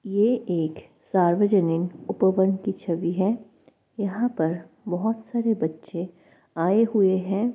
यह एक सार्वजनिक उपवन की छवि है यहां पर बहुत सारे बच्चे आए हुए है।